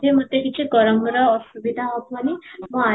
ଯେ ମୋତେ କିଛି ଗରମର ଅସୁବିଧା ହେବନି ମୁଁ ଆରମ